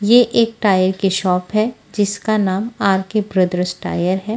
ये एक टायर की शॉप है जिसका नाम आर_के ब्रदर्स टायर है।